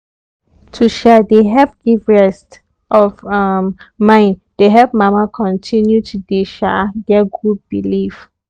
to um dey help give rest of um mind dey help mama continue to dey um get good belief